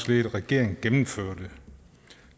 ledede regering gennemførte